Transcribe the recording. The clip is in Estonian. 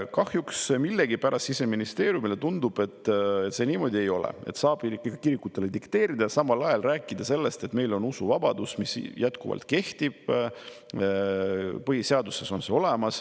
Kahjuks Siseministeeriumile millegipärast tundub, et see niimoodi ei ole, vaid saab ikkagi kirikutele dikteerida ja samal ajal rääkida sellest, et meil on usuvabadus, mis jätkuvalt kehtib, et põhiseaduses on see olemas.